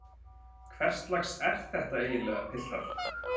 Hverslags er þetta eiginlega piltar?